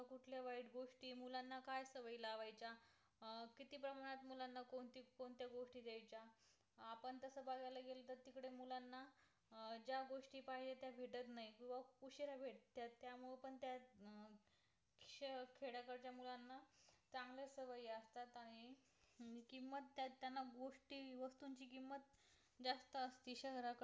असती शहरा कडे